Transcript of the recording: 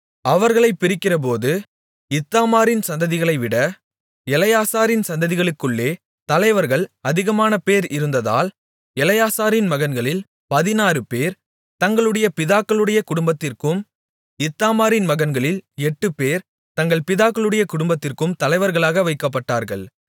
அவர்களைப் பிரிக்கிறபோது இத்தாமாரின் சந்ததிகளைவிட எலெயாசாரின் சந்ததிகளுக்குள்ளே தலைவர்கள் அதிகமானபேர் இருந்ததால் எலெயாசாரின் மகன்களில் பதினாறுபேர் தங்களுடைய பிதாக்களுடைய குடும்பத்திற்கும் இத்தாமாரின் மகன்களில் எட்டுபேர் தங்கள் பிதாக்களுடைய குடும்பத்திற்கும் தலைவர்களாக வைக்கப்பட்டார்கள்